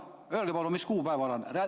Öelge palun, mis kuupäev see on.